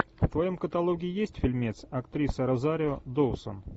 в твоем каталоге есть фильмец актриса розарио доусон